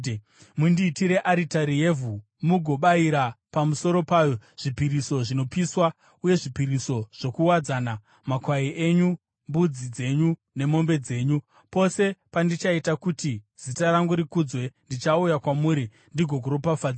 “ ‘Mundiitire aritari yevhu mugobayira pamusoro payo zvipiriso zvinopiswa uye zvipiriso zvokuwadzana, makwai enyu, mbudzi dzenyu nemombe dzenyu. Pose pandichaita kuti zita rangu rikudzwe, ndichauya kwamuri ndigokuropafadzai.